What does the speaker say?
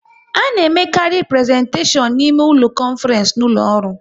A na emekarị prezentashion na ime ụlọ konfrence n'ụlọ ọrụ